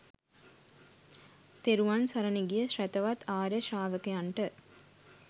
තෙරුවන් සරණ ගිය ශ්‍රැතවත් ආර්ය ශ්‍රාවකයන්ට